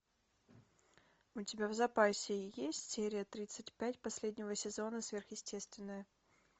у тебя в запасе есть серия тридцать пять последнего сезона сверхъестественное